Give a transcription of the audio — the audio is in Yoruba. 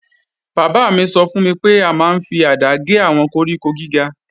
Bàbá mi sọ fún mi pé a máa ń fi àdá gé àwọn koríko gíga